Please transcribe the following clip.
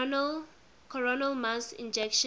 coronal mass ejections